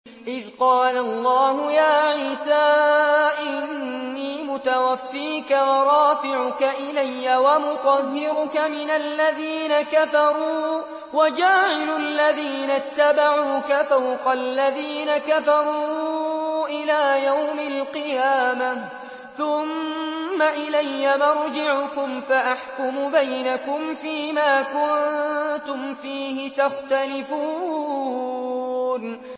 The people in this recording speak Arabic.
إِذْ قَالَ اللَّهُ يَا عِيسَىٰ إِنِّي مُتَوَفِّيكَ وَرَافِعُكَ إِلَيَّ وَمُطَهِّرُكَ مِنَ الَّذِينَ كَفَرُوا وَجَاعِلُ الَّذِينَ اتَّبَعُوكَ فَوْقَ الَّذِينَ كَفَرُوا إِلَىٰ يَوْمِ الْقِيَامَةِ ۖ ثُمَّ إِلَيَّ مَرْجِعُكُمْ فَأَحْكُمُ بَيْنَكُمْ فِيمَا كُنتُمْ فِيهِ تَخْتَلِفُونَ